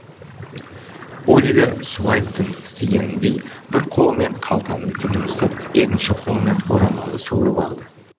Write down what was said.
оливер суайттың істегеніндей бір қолымен қалтаның түбін ұстап екінші қолымен орамалды суырып алды